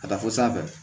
Ka taa fo sanfɛ